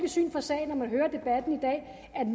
syn for sagen